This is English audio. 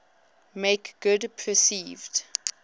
make good perceived